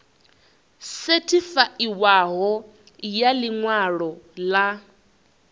sethifaiwaho ya ḽi ṅwalo ḽa